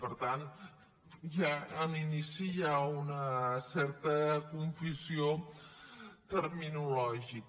per tant ja a l’inici hi ha una certa confusió terminològica